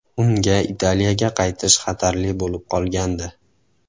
Unga Italiyaga qaytish xatarli bo‘lib qolgandi.